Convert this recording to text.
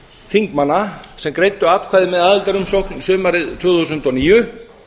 þingmanna sem greiddu atkvæði með aðildarumsókn sumarið tvö þúsund og níu